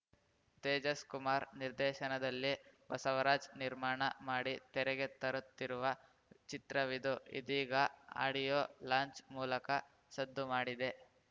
ತೇಜಸ್‌ ಕುಮಾರ್ ನಿರ್ದೇಶನದಲ್ಲಿ ಬಸವರಾಜ್‌ ನಿರ್ಮಾಣ ಮಾಡಿ ತೆರೆಗೆ ತರುತ್ತಿರುವ ಚಿತ್ರವಿದು ಇದೀಗ ಆಡಿಯೋ ಲಾಂಚ್‌ ಮೂಲಕ ಸದ್ದು ಮಾಡಿದೆ